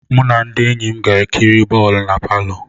Mụ na ndị enyi m ga-ekiri bọọlụ na palọ.